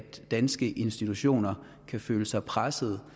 danske institutioner kan føle sig presset